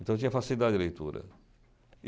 Então eu tinha facilidade de leitura.